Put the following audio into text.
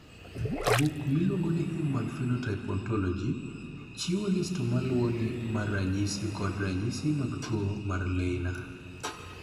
Buk miluongo ni Human Phenotype Ontology chiwo list ma luwoni mar ranyisi kod ranyisi mag tuo mar Leiner.